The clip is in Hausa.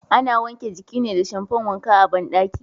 Ana wanke jiki ne da shamfan wanka a bandaki.